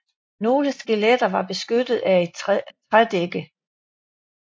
Nogle skeletter var beskyttet af et trædække